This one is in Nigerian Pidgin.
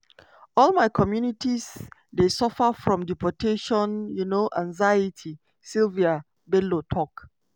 "all my communities dey suffer from deportation um anxiety" sylvie bello tok.